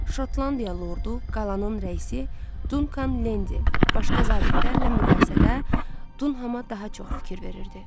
Şotlandiya lordu, qalanın rəisi Dunkan Lendi başqa zabitlərlə müqayisədə Dunhama daha çox fikir verirdi.